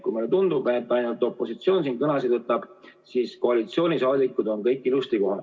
Kui meile tundub, et ainult opositsioon siin kõnesid võtab, siis koalitsioonisaadikud on kõik ilusti kohal.